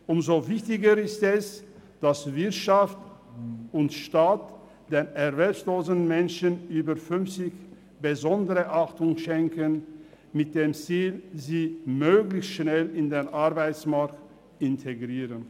Umso wichtiger ist es, dass Wirtschaft und Staat erwerbslosen, über fünfzigjährigen Menschen besondere Beachtung schenken mit dem Ziel, sie möglichst schnell in den Arbeitsmarkt zu integrieren.